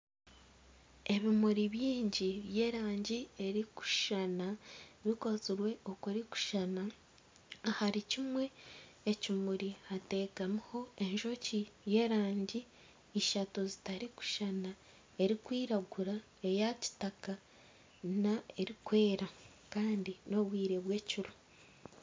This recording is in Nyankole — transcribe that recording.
Ebimuri bingi by'erangi eri kushushana bikozirwe okurikushushana. Ahari kimwe ekimuri, hatekamiho enjoki y'erangi ishatu zitarikushushana, erikwiragura, eya kitaka na erikwera Kandi ni obwire bw'ekiro.